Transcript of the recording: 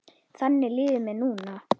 Þannig líður mér núna.